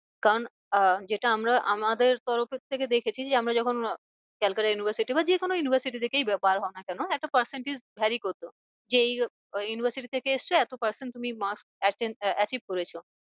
কারণ আহ যেটা আমরা আমাদের তরফের থেকে দেখেছি যে আমরা যখন calcutta university না যে কোনো university থেকেই বার হও না কেন একটা percentage vary করতো। যে এই university থেকে এসছে এতো percentage তুমি mark achieve করেছো।